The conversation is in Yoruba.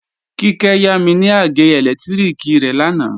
Kíkẹ́ yámi ní àgé ẹlẹ́lẹtiriki rẹ̀ lánàá